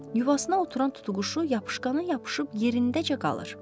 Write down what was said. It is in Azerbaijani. Yuvasına oturan tutuquşu yapışqana yapışıb yerindəcə qalır.